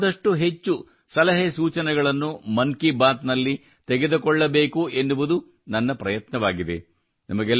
ಸಾಧ್ಯವಾದಷ್ಟು ಹೆಚ್ಚು ಸಲಹೆ ಸೂಚನೆಗಳನ್ನು ಮನ್ ಕಿ ಬಾತ್ ನಲ್ಲಿ ತೆಗೆದುಕೊಳ್ಳಬೇಕೆನ್ನುವುದು ನನ್ನ ಪ್ರಯತ್ನವಾಗಿದೆ